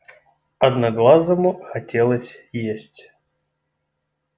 одноглазому хотелось есть